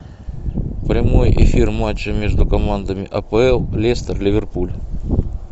прямой эфир матча между командами апл лестер ливерпуль